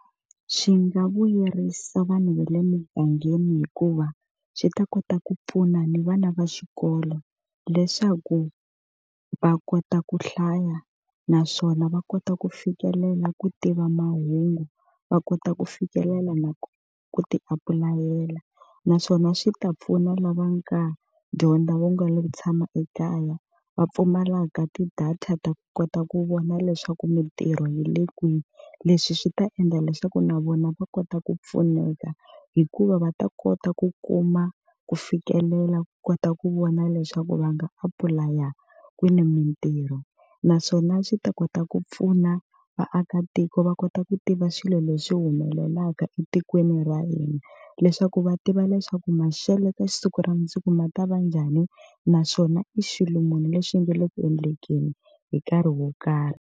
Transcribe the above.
Swi nga vuyerisa vanhu va le mugangeni hikuva swi ta kota ku pfuna ni vana va xikolo leswaku va kota ku hlaya, naswona va kota ku fikelela ku tiva mahungu va kota ku fikelela na ku ti apulayela. Naswona swi ta pfuna lava nga dyondza vo nga lo tshama ekaya, va pfumalaka ti-data ta ku kota ku vona leswaku mintirho yi le kwihi. Leswi swi ta endla leswaku na vona va kota ku pfuneka, hikuva va ta kota ku kuma ku fikelela ku kota ku vona leswaku va nga apulaya kwini mintirho. Naswona swi ta kota ku pfuna vaakatiko va kota ku tiva swilo leswi humelelaka laha etikweni ra hina, leswaku va tiva leswaku maxelo ka siku ra mundzuku ma ta va njhani naswona i xilo munhu lexi nge le ku endlekeni hi nkarhi wo karhi.